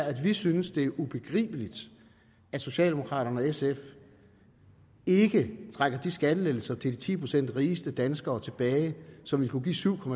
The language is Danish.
at vi synes det er ubegribeligt at socialdemokraterne og sf ikke trækker de skattelettelser til de ti procent rigeste danskere tilbage så vi kunne give syv